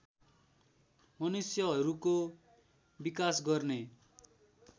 मनुष्यहरूको विकास गर्ने